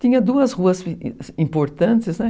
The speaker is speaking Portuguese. Tinha duas ruas importantes, né?